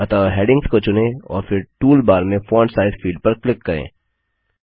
अतः हैडिंग्स को चुनें और फिर टूलबार में फोंट साइज फील्ड पर क्लिक करें